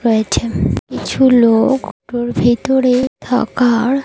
রয়েছেন কিছু লোক অটো -র ভিতরে থাকার--